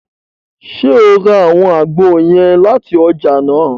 Ṣe o rà awọn àgbo yẹn láti ọjà nàá?